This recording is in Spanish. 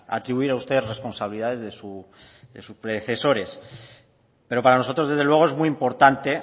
atribuir a usted responsabilidades de sus predecesores pero para nosotros desde luego es muy importante